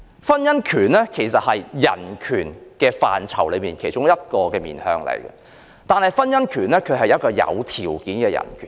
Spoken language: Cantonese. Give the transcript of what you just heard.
婚姻權是人權範疇的一個面向，但婚姻權是有條件的人權。